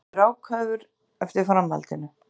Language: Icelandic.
Svenni bíður ákafur eftir framhaldinu.